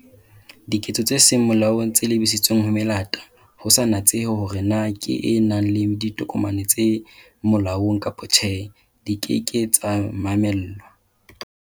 Diketso tse seng molaong tse lebisitsweng ho melata, ho sa natsehe horee na ke e nang le ditokomane tse molaong kapa tjhe, di ke ke tsa mamellwa.